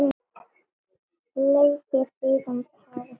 Sleikir síðan tár sitt.